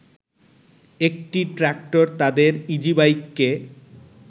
একটি ট্রাক্টর তাদের ইজিবাইককে